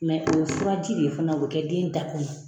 o ye furaji de ye fana o kɛ den da kɔnɔ.